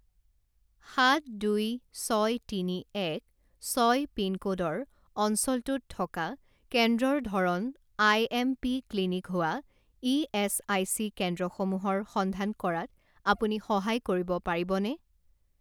সাত দুই ছয় তিনি এক ছয় পিনক'ডৰ অঞ্চলটোত থকা কেন্দ্ৰৰ ধৰণ আই এম পি ক্লিনিক হোৱা ইএচআইচি কেন্দ্ৰসমূহৰ সন্ধান কৰাত আপুনি সহায় কৰিব পাৰিবনে?